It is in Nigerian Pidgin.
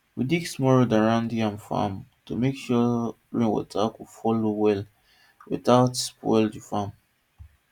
we dig small road around yam farm to make sure rain water go flow well without spoil the farm